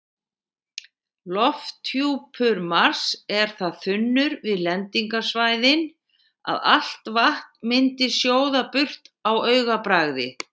Lofthjúpur Mars er það þunnur við lendingarsvæðin að allt vatn myndi sjóða burt á augabragði.